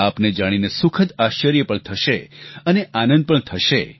આપને જાણીને સુખદ આશ્ચર્ય પણ થશે અને આનંદ પણ થશે